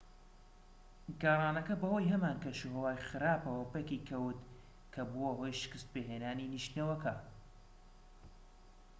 گەڕانەکە بەهۆی هەمان کەشوهەوای خراپەوە پەکی کەوت کە بووە هۆی شکت پێهێنانی نیشتنەوەکە